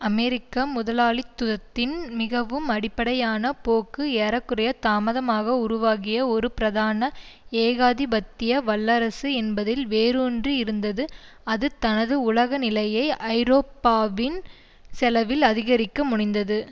அமெரிக்க முதலாளித்துத்தின் மிகவும் அடிப்படையான போக்கு ஏற குறைய தாமதமாக உருவாகிய ஒரு பிரதான ஏகாதிபத்திய வல்லரசு என்பதில் வேரூன்றி இருந்தது அது தனது உலக நிலையை ஐரோப்பாவின் செலவில் அதிகரிக்க முனைந்தது